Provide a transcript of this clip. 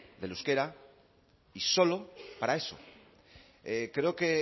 del euskara y solo para eso creo que